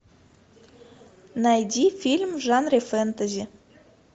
найди фильм в жанре фэнтези